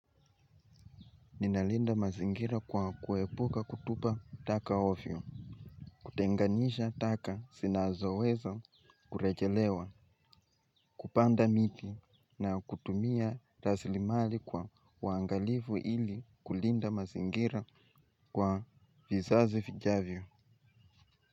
Ninalinda mazingira kwa kuepuka kutupa taka ovyo. Kutenganisha taka zinazoweza kurejelewa kupanda miti na kutumia raslimali kwa uangalifu ili kulinda mazingira kwa vizazi vijavyo.